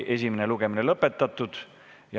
Esimene lugemine ongi lõpetatud.